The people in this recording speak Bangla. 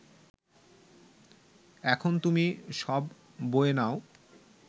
এখন তুমি সব বয়ে নাও